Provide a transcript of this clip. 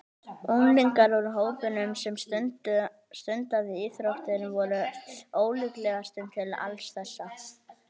Unglingar úr hópnum sem stundaði íþróttir voru ólíklegastir til alls þessa.